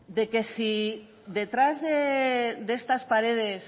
de que sí detrás de estas paredes